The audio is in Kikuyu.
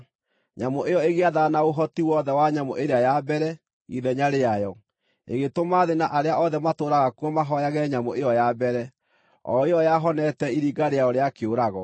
Nyamũ ĩyo ĩgĩathana na ũhoti wothe wa nyamũ ĩrĩa ya mbere ithenya rĩayo, ĩgĩtũma thĩ na arĩa othe matũũraga kuo mahooyage nyamũ ĩyo ya mbere, o ĩyo yahonete iringa rĩayo rĩa kĩũrago.